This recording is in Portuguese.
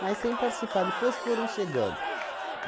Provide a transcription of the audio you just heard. Mas, sem participar, depois foram chegando.